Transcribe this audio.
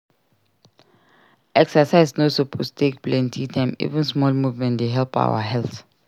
Exercise no suppose take plenty time; even small movement dey help our health.